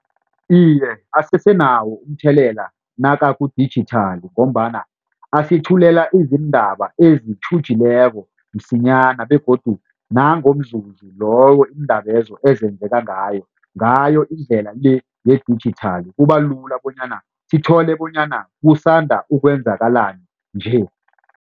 Iye asesenawo umthelela nakakudijithali ngombana asithulela izindaba ezitjhujileko msinyana begodu nangomzuzu loyo iindaba lezo ezenzeka ngayo, ngayo indlela le yedijithali kuba lula bonyana sithole bonyana kusanda ukwenzakalani nje.